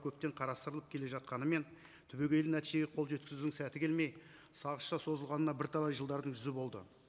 көптен қарастырылып келе жатқанымен түбегейлі нәтижеге қол жеткізудің сәті келмей сағызша созылғанына бірталай жылдардың жүзі болды